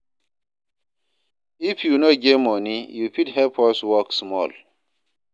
If you no get moni, you fit help us work small.